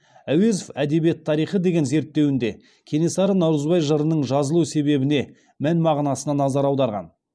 әуезов әдебиет тарихы деген зерттеуінде кенесары наурызбай жырының жазылу себебіне мән мағынасына назар аударған